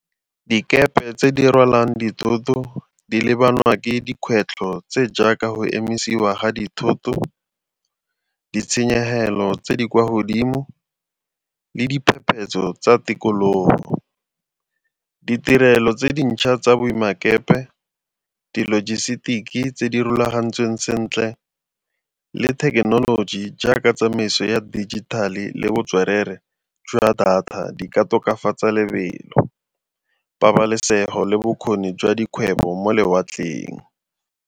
Dikepe tse di rwalang dithoto di lebanwa ke dikgwetlho tse jaaka go emisiwa ga dithoto ditshenyegelo tse di kwa godimo le diphephetso tsa tikologo. Ditirelo tse dintšha tsa boemakepe, di-logistics tse di rulagantsweng sentle le thekenoloji jaaka tsamaiso ya dijithale le botswerere jwa data di ka tokafatsa lebelo, pabalesego le bokgoni jwa dikgwebo mo lewatleng.